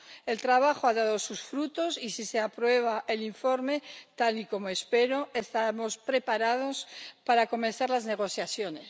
El trabajo ha dado sus frutos y, si se aprueba el informe ―como espero―, estamos preparados para comenzar las negociaciones.